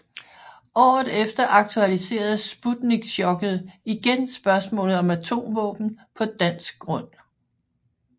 Året efter aktualiserede Sputnikchokket igen spørgsmålet om atomvåben på dansk grund